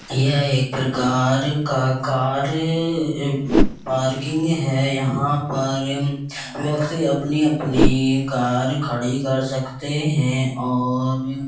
यह एक प्रकार का कार अ ए पार्किंग है। यहाँ पर व्यक्ति अपनी-अपनी कार खड़ी कर सकते हैं और --